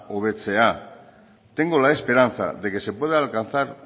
hobetzea tengo la esperanza de que se pueda alcanzar